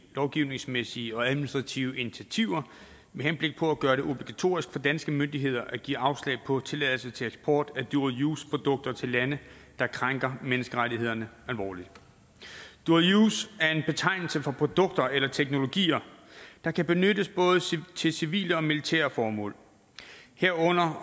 lovgivningsmæssige og administrative initiativer med henblik på at gøre det obligatorisk for danske myndigheder at give afslag på tilladelse til eksport af dual use produkter til lande der krænker menneskerettighederne alvorligt dual use er en betegnelse for produkter eller teknologier der kan benyttes både til civile og militære formål herunder